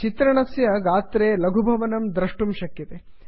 चित्रणस्य गात्रे लघुभवनं द्रष्टुं शक्यते